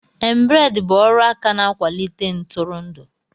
Embrade bụ ọrụ aka na-akwalite ntụrụndụ